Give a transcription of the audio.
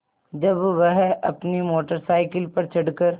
जब वह अपनी मोटर साइकिल पर चढ़ कर